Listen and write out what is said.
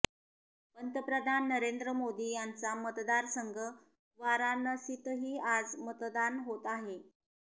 पंतप्रधान नरेंद्र मोदी यांचा मतदार संघ वाराणसीतही आज मतदान होत आहे